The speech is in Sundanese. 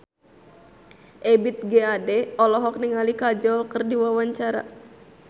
Ebith G. Ade olohok ningali Kajol keur diwawancara